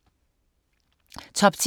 Top 10